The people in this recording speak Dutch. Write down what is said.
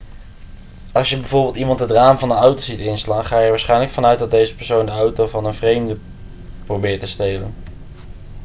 als je bijvoorbeeld iemand het raam van een auto ziet inslaan ga je er waarschijnlijk van uit dat deze persoon de auto van een vreemde probeert te stelen